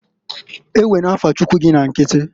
Ewena afa Chuckwu gị na nkiti!